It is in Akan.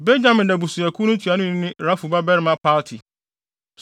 Benyamin abusuakuw no ntuanoni ne Rafu babarima Palti;